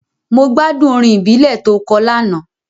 Mo gbádùn orin ìbílẹ̀ to kọ lánàá.